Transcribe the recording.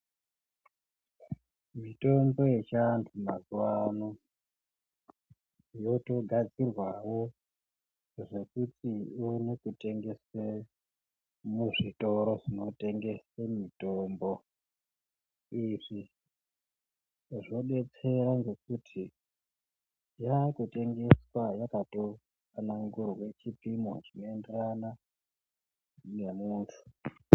Mitombo yechianhu mazuano yotogadzirwawo zvekuti ione kutengeswe muzvitoro zvinotengese mitombo, izvi zvodetsera ngekuti yakutengeswa yakato tsanangurwe chipimo chinoenderana nemuntu.